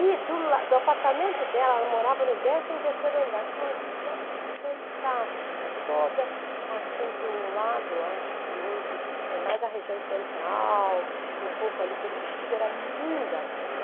E do apartamento dela, ela morava no décimo terceiro andar, tinha uma vista fantástica, toda assim para o lado, acho que hoje é mais a região central, um pouco ali pelo Bixiga, era linda a vista.